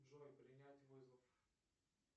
джой принять вызов